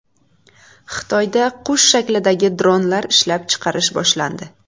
Xitoyda qush shaklidagi dronlar ishlab chiqarish boshlandi.